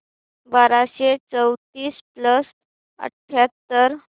बाराशे चौतीस प्लस अठ्याहत्तर